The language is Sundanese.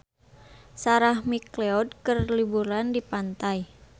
Sarah McLeod keur liburan di pantai